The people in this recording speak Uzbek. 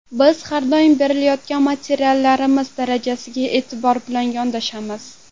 Biz har doim berilayotgan materiallarimiz darajasiga e’tibor bilan yondashamiz.